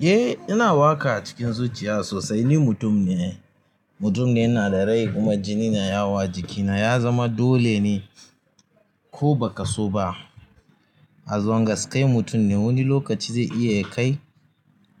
Eh, ina waƙa a cikin zuciya sosai. Ni mutum ne, mutum ne ina da rai kuma jini na ya wo a jikina, ya zama dole ne ko ba ka so ba. A zongas kai mutum ne, wani lokaci zai iya kai